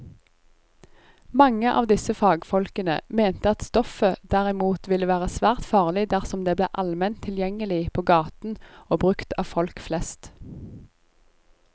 Mange av disse fagfolkene mente at stoffet derimot ville være svært farlig dersom det ble allment tilgjengelig på gaten og brukt av folk flest.